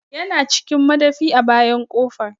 Ya na cikin madafi a bayan ƙofa